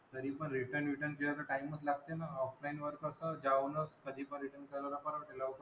तरीपण ते return बिटन ते असं time च लागते ना. Offline वर कसं जाऊनच कधी पण return करायला परवडते.